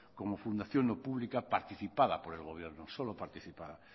como fundación no pública participada por el gobierno solo participada